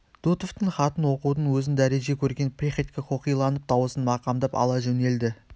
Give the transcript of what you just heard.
дутовтың хатын оқудың өзін дәреже көрген приходько қоқиланып дауысын мақамдап ала жөнелді